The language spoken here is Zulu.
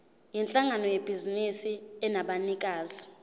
yinhlangano yebhizinisi enabanikazi